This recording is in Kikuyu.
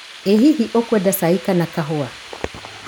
ĩ hihi ũkwenda cai kana kahũa?